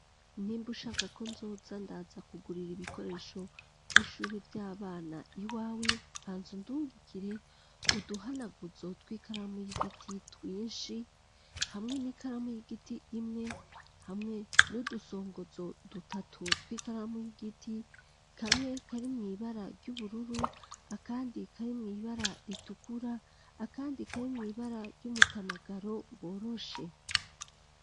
Nimba ushaka ko, nzoza ndaza, kugurira ibikoresho, vy'ishuri vy’abana, iwawe, banza undungikire: uduhanaguzo tw'ikaramu y'igiti, twinshi, hamwe n'ikaramu y'igiti, imwe ,hamwe n'udusongozo dutatu, tw'ikaramu y'igiti; kamwe, kari mw’ibara ry'ubururu, akandi, kari mw’ibara ritukura, akandi, kari mw’ibara ry'umutamagaro, woroshe.